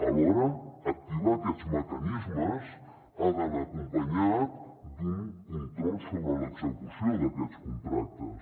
alhora activar aquests mecanismes ha d’anar acompanyat d’un control sobre l’execució d’aquests contractes